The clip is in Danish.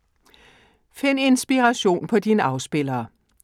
Find Inspiration på din afspiller.